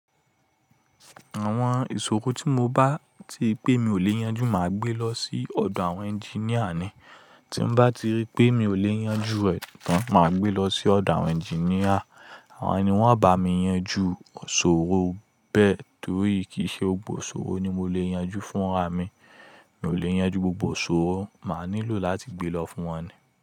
Àwọn ìṣòro tí mo bá tiri pé mi ò lè yanjú máa gbé lọ sí ọ̀dọ̀ àwọn ẹnginíà ni. Tí n bá ti rí pé mi ò lè yanjú rẹ̀ tán, máa gbé lọ sí ọ̀dọ̀ àwọn ẹnginíà. Àwọn ni wọn bá mi yanjú ṣòro bẹ́ẹ̀ torí kìí ṣe gbogbo ṣòro ni mo lè yanjú fúnra mi. Mi ò lè yanjú gbogbo ṣòro, màá nílò láti gbé lọ fún wọn ni.